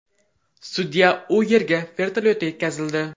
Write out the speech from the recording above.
Sudya u yerga vertolyotda yetkazildi.